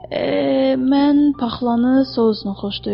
Mən paxlanı sousla xoşlayıram.